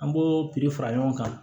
An b'o piri fara ɲɔgɔn kan